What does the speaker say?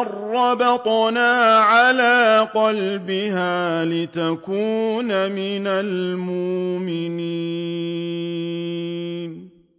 أَن رَّبَطْنَا عَلَىٰ قَلْبِهَا لِتَكُونَ مِنَ الْمُؤْمِنِينَ